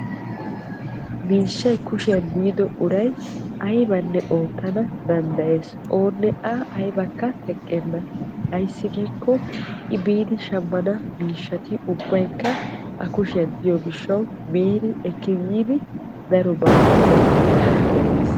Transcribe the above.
miishshay kushiyan de'iddo uray aybbanne oottana danddayees. oonne a aybbakka teqqenna. ayssi giikko i biidi shammana miishshati ubbaykka a kushiyan diyo gishawu biidi ekki yiidi darobaa oottana danddayees.